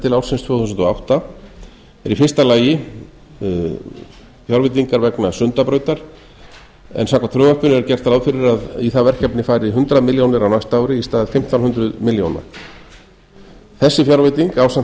til ársins tvö þúsund og átta eru í fyrsta lagi fjárveitingar vegna sundabrautar en samkvæmt frumvarpinu er gert ráð fyrir að í það verkefni fari hundrað milljónir á næsta ári í stað fimmtán hundruð milljónir þessi fjárveiting ásamt